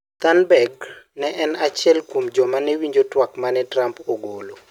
Thunberg ne en achiel kuom joma ne winjo twak ma ne Trump ogolo.